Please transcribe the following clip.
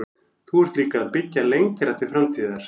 Þú ert líka að byggja lengra til framtíðar?